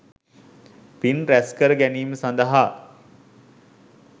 පින් රැස්කර ගැනීම සඳහා